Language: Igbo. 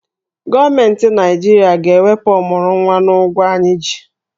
Gọọmenti Naijiria ga-ewepụ ọmụrụnwa n'ụgwọ anyị ji.